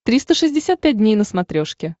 триста шестьдесят пять дней на смотрешке